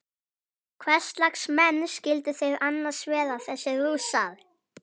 Hverslags menn skyldu þeir annars vera þessir Rússar?